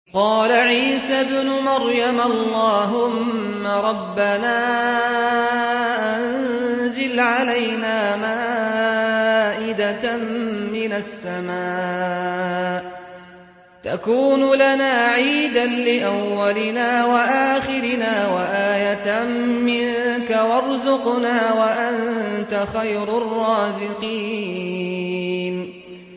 قَالَ عِيسَى ابْنُ مَرْيَمَ اللَّهُمَّ رَبَّنَا أَنزِلْ عَلَيْنَا مَائِدَةً مِّنَ السَّمَاءِ تَكُونُ لَنَا عِيدًا لِّأَوَّلِنَا وَآخِرِنَا وَآيَةً مِّنكَ ۖ وَارْزُقْنَا وَأَنتَ خَيْرُ الرَّازِقِينَ